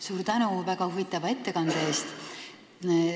Suur tänu väga huvitava ettekande eest!